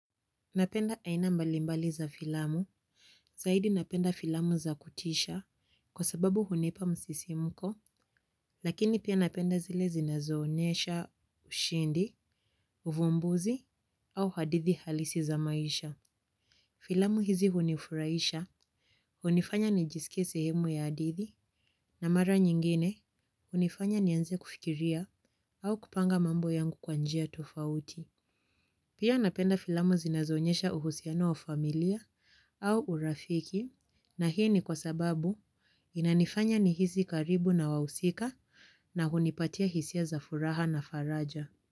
Napenda aina mbalimbali za filamu, zaidi napenda filamu za kutisha, kwa sababu hunipa msisimko. Lakini pia napenda zile zinazoonyesha ushindi, uvumbuzi, au hadithi halisi za maisha. Filamu hizi hunifurahisha, hunifanya nijisike sehemu ya hadithi na mara nyingine, hunifanya nianze kufikiria, au kupanga mambo yangu kwa njia tofauti. Pia napenda filamu zinazoonyesha uhusiano wa familia au urafiki na hii ni kwa sababu inanifanya nihisi karibu na wahusika na hunipatia hisia za furaha na faraja.